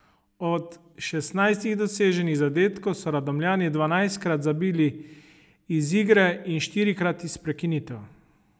Od šestnajstih doseženih zadetkov so Radomljani dvanajstkrat zabili iz igre in štirikrat iz prekinitev.